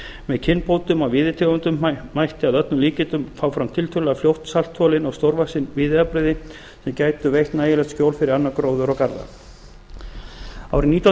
með kynbótum á víðitegundum mætti að öllum líkindum fá fram tiltölulega fljótt saltþolin og stórvaxin víðiafbrigði sem gætu veitt nægilegt skjól fyrir annan gróður og garða árið nítján